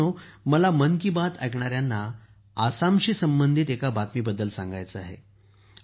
मित्रांनो मला मन की बात च्या श्रोत्यांना आसामशी संबंधित एका बातमीबद्दल सांगायचे आहे